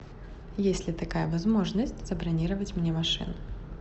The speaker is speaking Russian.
есть ли такая возможность забронировать мне машину